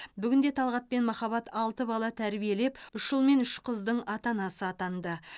бүгінде талғат пен махаббат алты бала тәрбиелеп үш ұл мен үш қыздың ата анасы атанды